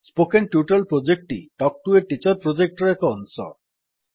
spoken tutorial ପ୍ରୋଜେକ୍ଟଟି talk to a teacher project ର ଏକ ଅଂଶ